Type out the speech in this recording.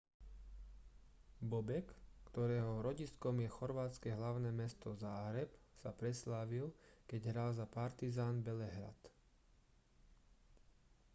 bobek ktorého rodiskom je chorvátske hlavné mesto záhreb sa preslávil keď hral za partizan belehrad